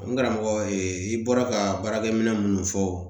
N karamɔgɔ ye i bɔra ka baarakɛminɛn minnu fɔ